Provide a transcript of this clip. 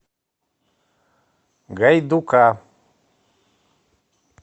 гайдука